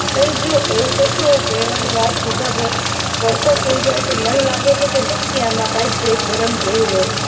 એય જો એવું તો શું હોય પરણવાની વાત ભૂકા ભડકો જ થઇ જશે. મને લાગે છે કે નક્કી આમાં કઈક ભેદ ભરમ જેવું હોય.